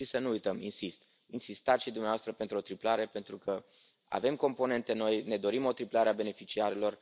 Și să nu uităm, insist, insistați și dumneavoastră pentru o triplare, pentru că avem componente noi, ne dorim o triplare a beneficiarilor.